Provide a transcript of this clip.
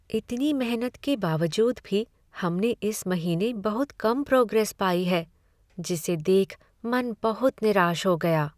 इतनी मेहनत के बावजूद भी हमने इस महीने बहुत कम प्रोग्रेस पाई है, जिसे देख मन बहुत निराश हो गाया।